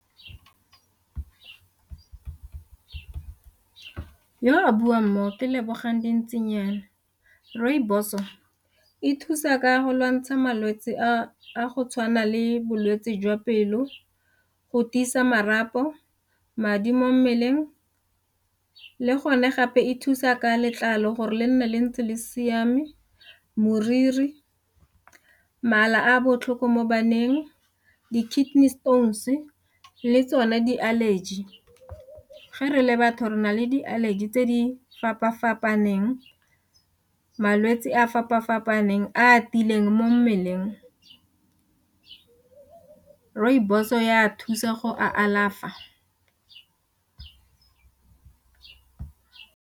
Yo a buang mo ke Lebogang Dintsinyana. Rooibos o e thusa ka go lwantsha malwetse a go tshwana le bolwetse jwa pelo, go tiisa marapo, madi mo mmeleng le gone gape e thusa ka letlalo gore le nne le ntse le siame moriri, mala a botlhoko mo baneng di ka le tsone di-allergy ge re le batho re na le di allergy tse di fapa-fapaneng, malwetse a a fapa-fapaneng a tiileng mo mmeleng, rooibos ya thusa go go alafa.